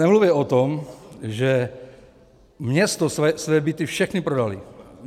Nemluvě o tom, že město své byty všechny prodalo.